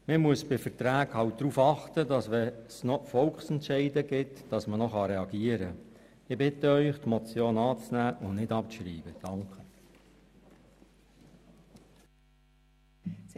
Man muss bei Verträgen darauf achten, dass man noch reagieren kann, wenn es Volksentscheide gibt.